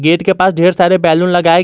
gate के पास ढेर सारे बैलून लगाए गए--